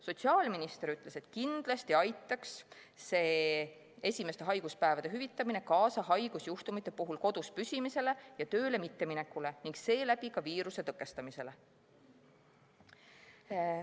Sotsiaalminister ütles, et kindlasti aitaks esimeste haiguspäevade hüvitamine kaasa haigusjuhtumite puhul kodus püsimisele ja tööle mitteminekule ning seeläbi viiruse tõkestamisele.